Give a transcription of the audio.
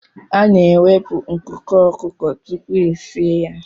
A na-ewepụ nku ọkụkọ tupu esie ya.